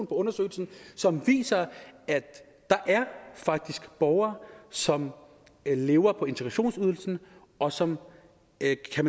undersøgelse som viser at der faktisk er borgere som lever på integrationsydelsen og som ikke har